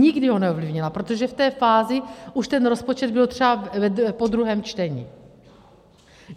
Nikdy ho neovlivnila, protože v té fázi už ten rozpočet byl třeba po druhém čtení.